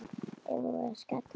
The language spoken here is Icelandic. Eigum við að skella okkur?